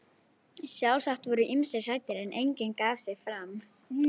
Sjálfsagt voru ýmsir hræddir, en enginn gaf sig fram.